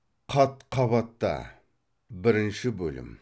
қат қабатта бірінші бөлім